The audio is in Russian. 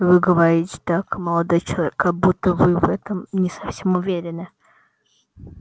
вы говорите так молодой человек как будто вы в этом не совсем уверены